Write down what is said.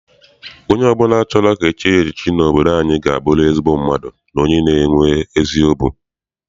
Onye ọbụla chọrọ ka e chie ya echiche n'obodo anyị ga aburiri ezigbo mmadụ na onye nwere ezi obi.